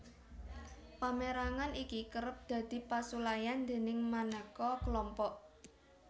Pamérangan iki kerep dadi pasulayan déning manéka klompok